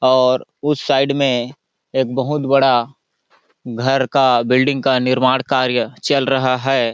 और उस साइड में एक बहुत बड़ा घर का बिल्डिंग का निर्माण कार्य चल रहा है।